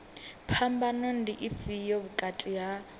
phambano ndi ifhio vhukati ha